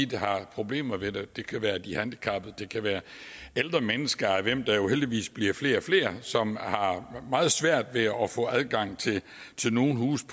der har problemer ved det det kan være de handicappede det kan være ældre mennesker af hvilke der jo heldigvis bliver flere og flere og som har meget svært ved at få adgang til nogle huse